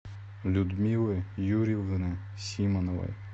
людмилы юрьевны симоновой